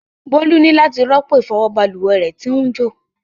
Bolu ni lati ropo ifọwọ balùwẹ ti n jo.